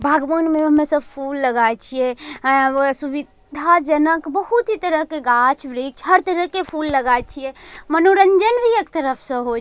बागवान में हमेशा फूल लगाइ छिए। अ एगो सुविधाजनक बहुत ही तरह के गाछ वृक्ष हर तरह के फूल लगाई छिए। मनोरंजन भी एक तरफ से होइ --